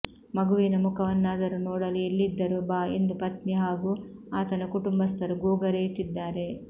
ಮಗುವಿನ ಮುಖವನ್ನಾದರೂ ನೋಡಲು ಎಲ್ಲಿದ್ದರೂ ಬಾ ಎಂದು ಪತ್ನಿ ಹಾಗೂ ಆತನ ಕುಟುಂಬಸ್ಥರು ಗೋಗರೆಯುತ್ತಿದ್ದಾರೆ